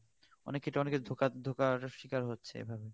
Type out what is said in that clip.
অনেক ক্ষেত্রে অনেকে ধোকা ধোকার স্বীকার হচ্ছে এভাবে